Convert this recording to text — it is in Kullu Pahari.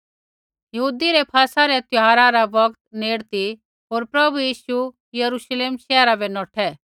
यहूदी रै फसला रै त्यौहारा रा बौगत नेड़े ती होर प्रभु यीशु यरूश्लेम शैहरा बै नौठै